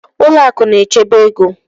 Ụlọ akụ na-echebe ego